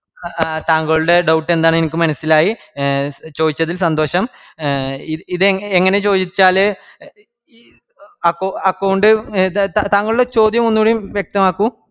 ആ താങ്കളുടെ doubt എന്താന്ന് എനിക്ക് മനസ്സിലായി ചോയ്ച്ചതിൽ സന്തോശം. എ ഇത് എ എങ്ങനെ ചോയിച്ചാല് അക്കൗ account എ താങ്കളുടെ ചോദ്യം ഒന്നുക്കൂടീം വ്യെക്തമാക്കു.